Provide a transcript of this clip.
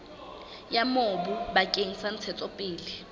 ya mobu bakeng sa ntshetsopele